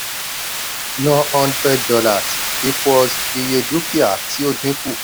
ná hundred dollars equals iye dúkìá tí ó ó dín kù.